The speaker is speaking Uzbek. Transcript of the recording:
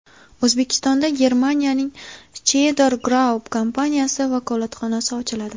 O‘zbekistonda Germaniyaning Scheider Group kompaniyasi vakolatxonasi ochiladi.